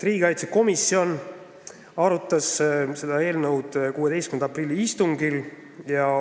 Riigikaitsekomisjon arutas seda eelnõu 16. aprilli istungil.